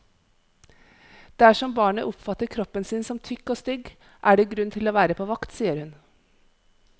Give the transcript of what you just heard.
Dersom barnet oppfatter kroppen sin som tykk og stygg, er det grunn til å være på vakt, sier hun.